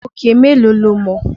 Òkè mélòó lo mọ̀?